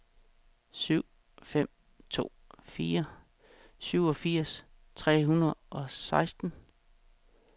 syv fem to fire syvogfirs tre hundrede og seksten